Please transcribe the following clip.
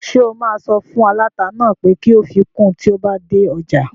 Ṣé o máa sọ fún aláta náà pé kó fi kun tí o bá dé ọjà?